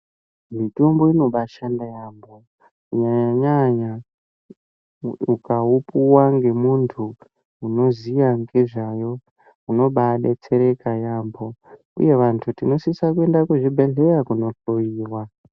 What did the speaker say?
Mitombo inobashanda yaambo kunyanya nyanya ukaupuwa ngemuntu unoziya ngezvayo unobadetsereka yaambo uye vantu tinosisa kuenda kuzvibhedhleya kunohloyiwa.